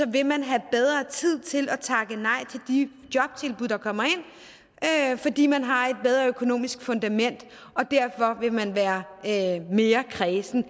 vil man have bedre tid til at takke nej til de jobtilbud der kommer ind fordi man har et bedre økonomisk fundament og derfor vil man være mere kræsen